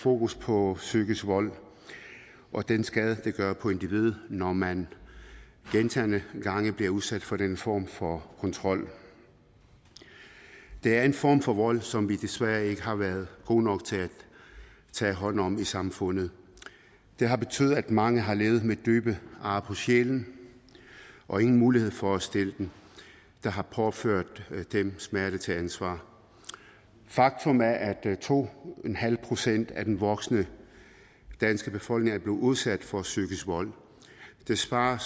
fokus på psykisk vold og den skade det gør på individet når man gentagne gange bliver udsat for den form for kontrol det er en form for vold som vi desværre ikke har været gode nok til at tage hånd om i samfundet det har betydet at mange har levet med dybe ar på sjælen og ingen mulighed for at stille dem der har påført dem smerten til ansvar faktum er at to procent af den voksne danske befolkning udsat for psykisk vold det svarer